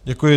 Děkuji.